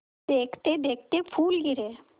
देखते देखते फूल गिरे